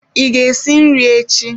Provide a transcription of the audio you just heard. Ị ga-esi nri echi?